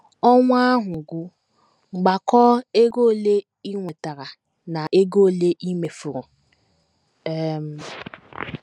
Ọnwa ahụ gwụ, gbakọọ ego ole i nwetara na ego ole i mefuru. um